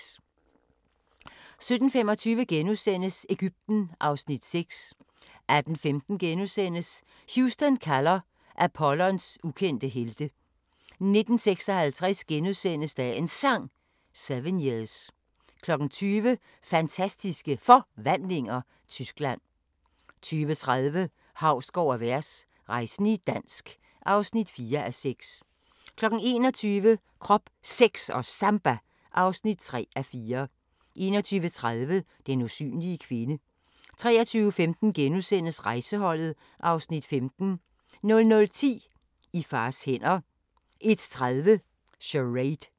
17:25: Egypten (Afs. 6)* 18:15: Houston kalder – Apollos ukendte helte * 19:56: Dagens Sang: 7 years * 20:00: Fantastiske Forvandlinger – Tyskland 20:30: Hausgaard & Vers – rejsende i dansk (4:6) 21:00: Krop, Sex & Samba (3:4) 21:30: Den usynlige kvinde 23:15: Rejseholdet (Afs. 15)* 00:10: I fars hænder 01:30: Charade